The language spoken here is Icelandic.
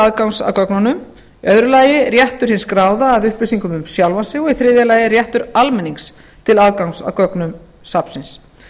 aðgangs að gögnunum tvö réttur hins skráða að upplýsingum um sjálfan sig og þrjú réttur almennings til aðgangs að gögnum safnsins